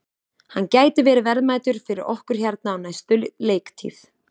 Hann gæti verið verðmætur fyrir okkur hérna á næstu leiktíð.